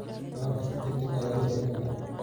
Ciwaanka si degdeg ah ayaa loo heli karaa.